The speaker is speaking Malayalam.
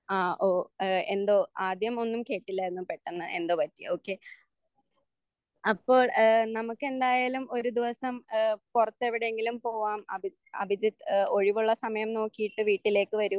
ആഹ് ഓഹ് ഏഹ്‌ എന്തോ ആദ്യം ഒന്നും കേട്ടില്ലായിരുന്നു പെട്ടെന്ന് എന്തോ പറ്റി. ഓക്കെ അപ്പോൾ ഏഹ് നമുക്കെന്തായാലും ഒരു ദിവസം ഏഹ് പുറത്തെവിടെയെങ്കിലും പോവാം. അഭിജിത്ത് അഭിജിത്ത് ഒഴിവുള്ള സമയം നോക്കിയിട്ട് വീട്ടിലേക്ക് വരൂ